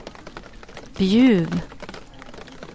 Bjuv